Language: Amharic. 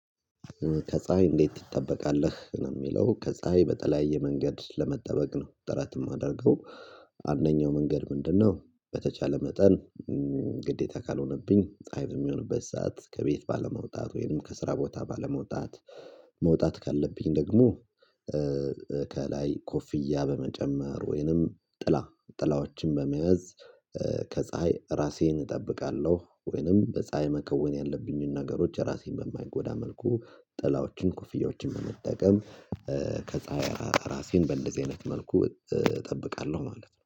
ከፀሀይ እንዴት ትጠበቃለህ? ነው የሚለው ከፀሀይ በተለያየ መንገድ ለመጠበቅ ነው ጥረት የማደርገው አንደኛው መንገድ ምንድነው በተቻለ መጠን ግዴታ ካልሆነብኝ ፀሀይ የሚሆንበት ሰዓት ከቤት ባለመውጣት ወይም ከስራ ቦታ ባለመውጣት፣ መውጣት ካለብኝ ደግሞ ከላይ ኮፍያ በመጨመር ወይንም ጥላ ጥላዎችን በመያዝ ከፀሀይ ራሴን እጠብቃለሁ ወይንም በፀሀይ መከወን ያለብኝን ነገሮች ራሴን በማይጎዳ መልኩ ጥላዎችን፣ ኮፍያዎችን በመጠቀም ከፀሀይ ራሴን በእንደዚ አይነት መልኩ እጠብቃለሁ ማለት ነው።